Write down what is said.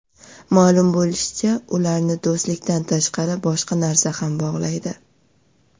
Ma’lum bo‘lishicha, ularni do‘stlikdan tashqari boshqa narsa ham bog‘laydi.